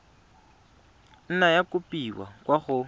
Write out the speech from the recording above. nna ya kopiwa kwa go